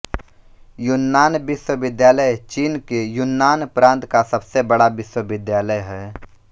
Yunnan विश्वविद्यालय चीन के युन्नान प्रान्त का सबसे बड़ा विश्वविद्यालय है